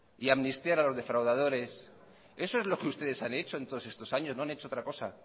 y amnistiar a los defraudadores eso es lo que ustedes han hecho en todos estos años no han hecho otra cosa